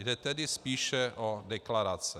Jde tedy spíše o deklarace.